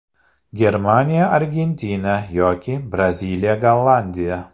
Germaniya Argentina yoki Braziliya Gollandiya.